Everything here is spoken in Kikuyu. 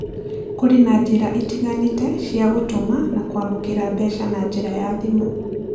Kũrĩ na njĩra itiganĩte cia gũtũma na kwamũkĩra mbeca na njĩra ya thimũ: